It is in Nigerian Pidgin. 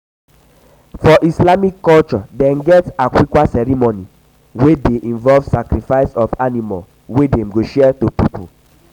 for islamic culture dem get aqiqah ceremony wey de involve sacrifice of animal wey dem go share to pipo